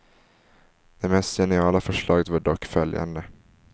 Det mest geniala förslaget var dock följande.